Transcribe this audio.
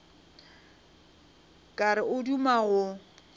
ka re o duma go